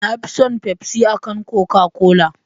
Nafi son fafsi ankan koka-kola